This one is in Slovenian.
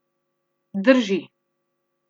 Drži.